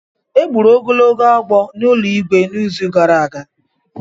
E gburu ogologo agwọ n’ụlọ Igwe n’izu gara aga.